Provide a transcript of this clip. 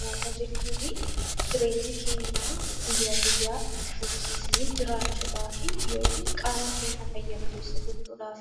Nyaata jechuun jireenya keenya guyyaa guyyaa itti fufsiifnee jiraachuudhaaf yookiin qaama keenya fayya buleessa gochuudhaaf